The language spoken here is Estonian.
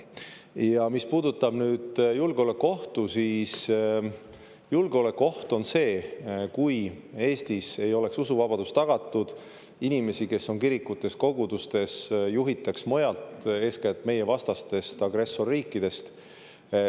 Ja mis puudutab nüüd julgeolekuohtu, siis julgeolekuoht on see, kui Eestis ei oleks usuvabadus tagatud, kui inimesi, kes on kirikutes ja kogudustes, juhitaks mujalt, eeskätt meievastastest agressorriikidest.